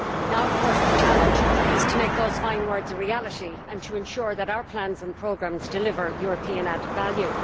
Now of course the challenge is to make those fine words a reality and to ensure that our plans and programmes deliver European added value.